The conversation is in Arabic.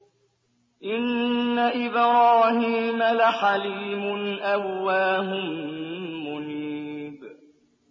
إِنَّ إِبْرَاهِيمَ لَحَلِيمٌ أَوَّاهٌ مُّنِيبٌ